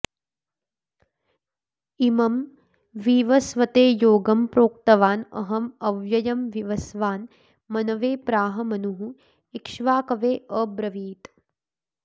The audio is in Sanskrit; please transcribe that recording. इमं विवस्वते योगं प्रोक्तवान् अहम् अव्ययम् विवस्वान् मनवे प्राह मनुः इक्ष्वाकवे अब्रवीत्